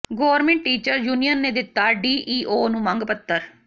government teachers union ਨੇ ਦਿੱਤਾ DEO ਨੂੰ ਮੰਗ ਪੱਤਰ